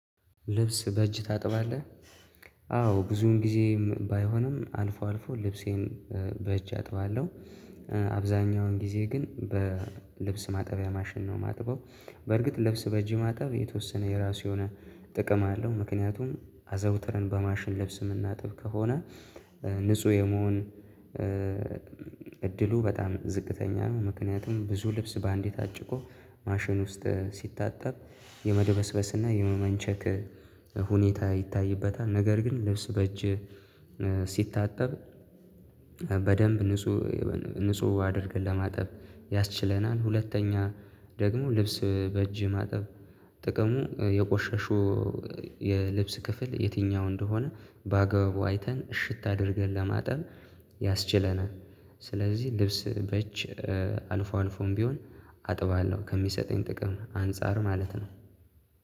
ልብስ በእጅ ታጥባለህ? አዎ ብዙን ጊዜም ባይሆንም አልፎ አልፎ ልብሴን በእጅ አጥባለሁ። አብዛኛውን ጊዜ ግን በልብስ ማጠቢያ ማሽን ነው የማጥበው። በርግጥ ልብስ በእጅህ ማጠብ የተወሰነ የራሱ የሆነ ጥቅም አለው ምክንያቱም አዘውትረን በማሽን ለብስ የምናጥብ ከሆነ ንጹህ የመሆን እድሉ በጣም ዝቅተኛ ነው። ምክንያቱም ብዙ ልብስ በአንዴ ታጭቆ ማሽን ውስጥ ሲታጠብ የመደበስበስና የመመንቸክ ሁኔታ ይታይበታል። ነገር ግን ልብስ በእጅ ሲታጠብ በደንብ ንጹህ ንጹህ አድርገን ለማጠብ ያስችለናል። ሁለተኛ ደግሞ ልብስ በእጅ ማጠብ ጥቅሙ የቆሸሹ የልብስ ክፍል የትኛው እንደሆነ በአግባቡ አይተን እሽት አድርገን ለማጠብ ያስችለናል። ስለዚህ ልብስ በእጀ አልፎ አልፎም ቢሆን አጥባለሁ ከሚሰጠኝ ጥቅም አንፃር ማለት ነው።